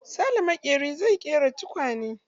Sale maƙeri zai ƙera tukwane.